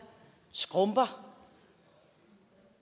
skrumper